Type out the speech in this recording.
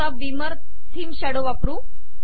आता Beamer theme shadow वापरू